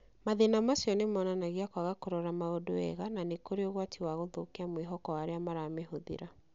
Mathĩna macio nĩ monanagia kwaga kũrora maũndũ wega na nĩ kũrĩ ũgwati wa gũthũkia mwĩhoko wa arĩa maramĩhũthĩra.